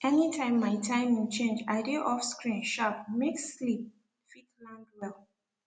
anytime my timing change i dey off screen sharp make sleep fit land well